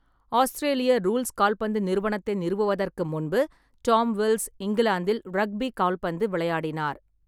ஆஸ்திரேலிய rules கால்பந்து நிறுவனத்தை நிறுவுவதற்கு முன்பு டாம் வில்ஸ் இங்கிலாந்தில் ரக்பி கால்பந்து விளையாடினார்.